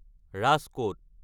Rajkot